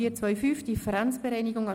4.2.5 Differenzbereinigung Art.